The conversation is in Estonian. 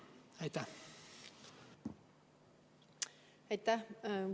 Aitäh!